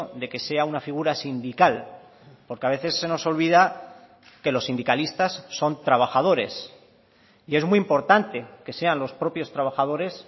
de que sea una figura sindical porque a veces se nos olvida que los sindicalistas son trabajadores y es muy importante que sean los propios trabajadores